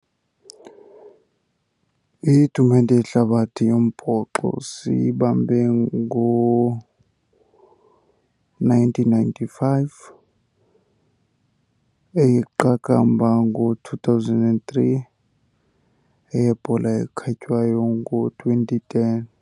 Itumente yehlabathi yombhoxo siyibambe ngo-nineteen ninety-five, eyeqakamba ngo-two thousand and three, eyebhola ekhatywayo ngo-twenty ten.